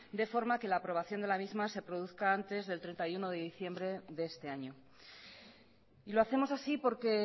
de forma que la aprobación de la misma se produzca antes del treinta y uno de diciembre de este año y lo hacemos así porque